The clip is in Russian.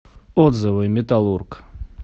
отзывы металлург